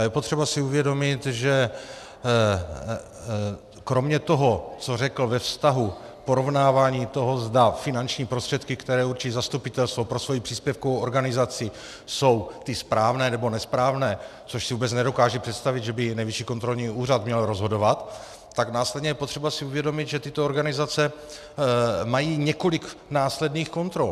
A je potřeba si uvědomit, že kromě toho, co řekl ve vztahu porovnávání toho, zda finanční prostředky, které určí zastupitelstvo pro svoji příspěvkovou organizaci, jsou ty správné nebo nesprávné, což si vůbec nedokážu představit, že by Nejvyšší kontrolní úřad měl rozhodovat, tak následně je potřeba si uvědomit, že tyto organizace mají několik následných kontrol.